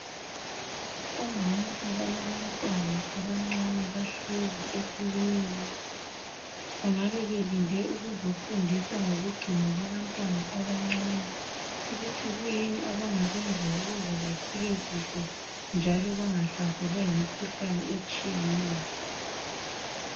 Omama abalabantwana abancane bahlezi ekiliniki bangabe belinde ukuzofundiswa ngokugcinwa kwabantwana abancane ukuthi kuyini abangakwenza ukuze bakhule kuhle njalo bangahlaselwa yimikhuhlani etshiyeneyo.